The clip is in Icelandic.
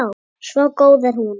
Svo góð er hún.